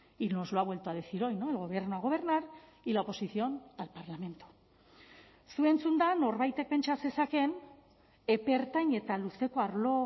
y nos lo ha vuelto a decir hoy no el gobierno a gobernar y la oposición al parlamento zu entzunda norbaitek pentsa zezakeen epe ertain eta luzeko arlo